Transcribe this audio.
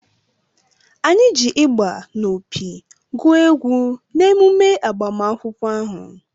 Anyị ji ịgbà na opi gụ egwu n’emume agbamakwụkwọ ahụ